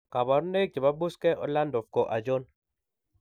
Kabarunaik chebo Buschke Ollendorff ko achon ?